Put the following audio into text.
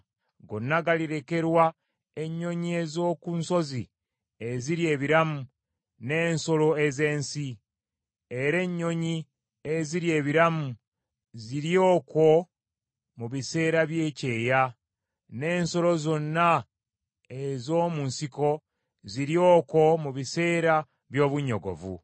Gonna galirekerwa ennyonyi ez’oku nsozi ezirya ebiramu n’ensolo ez’ensi. Era ennyonyi ezirya ebiramu zirye okwo mu biseera by’ekyeya, n’ensolo zonna ez’omu nsiko zirye okwo mu biseera by’obunnyogovu.